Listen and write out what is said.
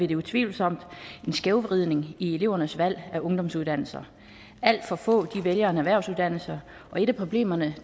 der utvivlsomt er en skævvridning i elevernes valg af ungdomsuddannelser alt for få vælger en erhvervsuddannelse og et af problemerne